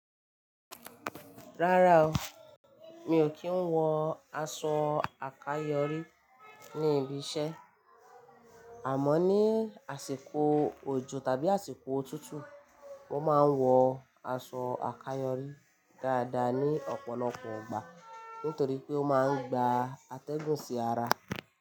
Rárá o, mi ò kí ń wọ aṣọ àkayòrí ní ibi iṣẹ́. Àmọ́ ní àsìkò òjò tàbí àsìkò òtútù, mo máa ń wọ aṣọ àkayòrí dáadáa ní ọ̀pọ̀lọpọ̀ igbà nítorí pé ó máa ń gba atẹ́gùn sí ara.